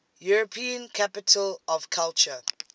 european capitals of culture